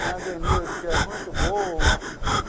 Tem a Zenilde, que é muito boa.